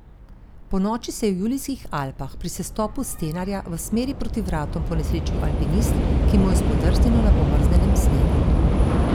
Ponoči se je v Julijskih Alpah pri sestopu s Stenarja v smeri proti Vratom ponesrečil alpinist, ki mu je spodrsnilo na pomrznjenem snegu.